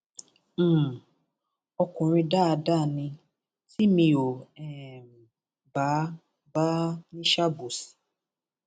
um ọkùnrin dáadáa ni tí mi ò um bá bá ní í ṣàbòsí